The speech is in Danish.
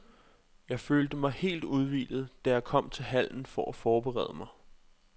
Jeg følte mig helt udhvilet, da jeg kom til hallen for at forberede mig.